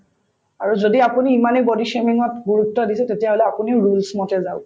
আৰু যদি আপুনি ইমানেই গুৰুত্ব দিছে তেতিয়াহলে আপুনিও roles মতে যাওক